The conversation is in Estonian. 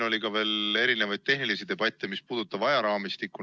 Oli ka veel mitmesuguseid tehnilisi debatte, mis puudutasid ajaraamistikku.